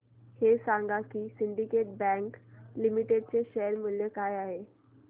हे सांगा की सिंडीकेट बँक लिमिटेड चे शेअर मूल्य काय आहे